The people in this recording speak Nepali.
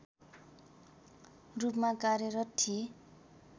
रूपमा कार्यरत थिए